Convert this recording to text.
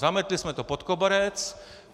Zametli jsme to pod koberec.